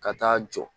Ka taa jɔ